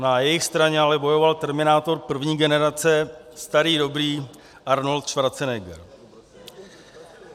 Na jejich straně ale bojoval terminátor první generace, starý dobrý Arnold Schwarzenegger.